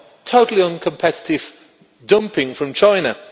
totally uncompetitive dumping from China.